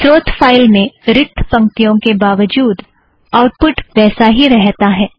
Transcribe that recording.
स्रोत फ़ाइल में रिक्त पंक्तियों के बावजूद आउटपुट वैसा ही रहता है